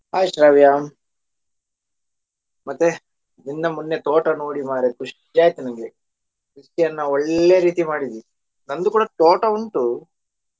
Hai Shravya. ಮತ್ತೆ ನಿನ್ನ ಮೊನ್ನೆ ತೋಟ ನೋಡಿ ಮಾರ್ರೆ ಖುಷಿ ಆಯ್ತ ನಂಗೆ ಕೃಷಿಯನ್ನ ಒಳ್ಳೆ ರೀತಿ ಮಾಡಿದ್ದಿ. ನನ್ದು ಕೂಡಾ ತೋಟ ಉಂಟು.